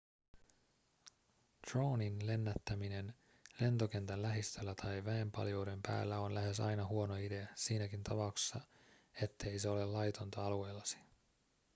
droonin lennättäminen lentokentän lähistöllä tai väenpaljouden päällä on lähes aina huono idea siinäkin tapauksessa ettei se ole laitonta alueellasi